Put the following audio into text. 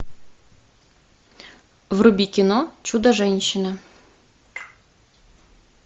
вруби кино чудо женщина